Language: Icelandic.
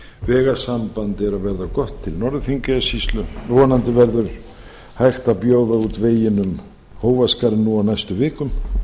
vegasamband er að verða gott til norður þingeyjarsýslu vonandi verður hægt að bjóða út veginn um hófaskarð nú á næstu vikum